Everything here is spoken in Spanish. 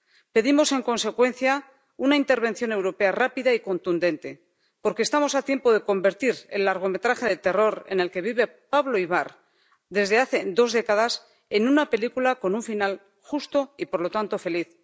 Pedimos, en consecuencia, una intervención europea rápida y contundente, porque estamos a tiempo de convertir el largometraje de terror en el que vive Pablo Ibar desde hace dos décadas en una película con un final justo y, por lo tanto, feliz.